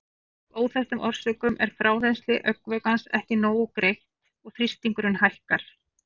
Af óþekktum orsökum er frárennsli augnvökvans ekki nógu greitt og þrýstingurinn hækkar.